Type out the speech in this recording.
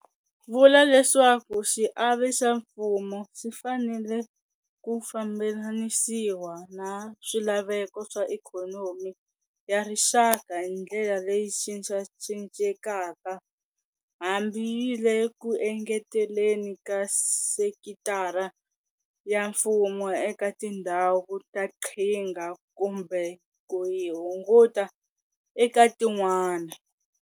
Vula leswaku xiave xa mfumo xi fanele ku fambelanisiwa na swilaveko swa ikhonomi ya rixaka hi ndlela leyi cincacincekaka, hambi yi le ku engeteleni ka sekitara ya mfumo eka tindhawu ta qhinga kumbe ku yi hunguta eka tin'wana.